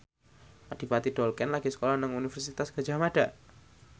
Adipati Dolken lagi sekolah nang Universitas Gadjah Mada